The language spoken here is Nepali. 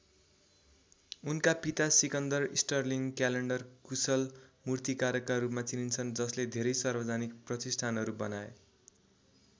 उनका पिता सिकन्दर स्टर्लिंङ क्याल्डर कुशल मूर्तिकारका रूपमा चिनिन्छन् जसले धेरै सार्वजनिक प्रतिष्ठानहरू बनाए ।